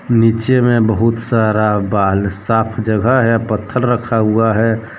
नीचे में बहुत सारा बाल साफ जगह है पत्थर रखा हुआ है।